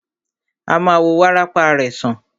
A ma wo wárápá rẹ̀ sàn.